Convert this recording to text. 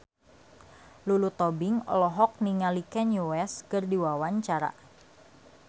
Lulu Tobing olohok ningali Kanye West keur diwawancara